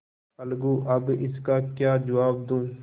अलगूअब इसका क्या जवाब दूँ